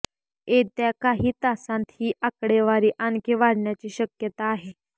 येत्या काही तासांत ही आकडेवारी आणखी वाढण्याची शक्यता आहे